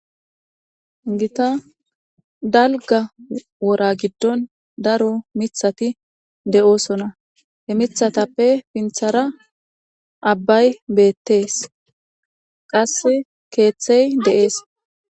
gita dalga wora giddon daro mithati de7oosona he mithatappe pinthara abbay beettees qass keeththey deees